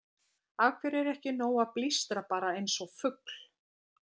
Af hverju er ekki nóg að blístra bara eins og fugl?